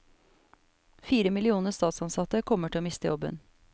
Fire millioner statsansatte kommer til å miste jobben.